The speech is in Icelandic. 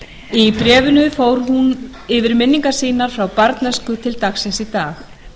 í bréfinu fór hún yfir minningar sínar frá barnæsku til dagsins í dag